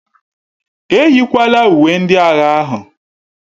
Eyịkwala uwe ndị agha ahụ!